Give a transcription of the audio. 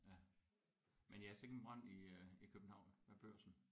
Ja men ja sikke en brand i øh i København med Børsen